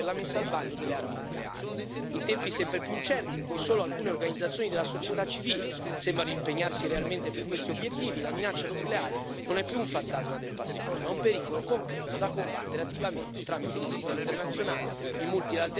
In tempi sempre più incerti, in cui solo alcune organizzazioni della società civile sembrano impegnarsi realmente per questi obiettivi, la minaccia nucleare non è più un fantasma del passato ma un pericolo concreto, da combattere attivamente tramite il diritto internazionale e il multilateralismo, di cui l'Unione è leader nel mondo.